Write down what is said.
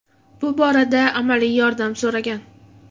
Bu borada amaliy yordam so‘ragan.